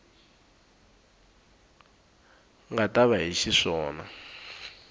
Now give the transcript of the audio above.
nga ta va hi xiswona